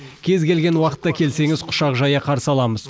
кез келген уақытта келсеңіз құшақ жая қарсы аламыз